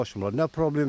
Gəlib açmırlar.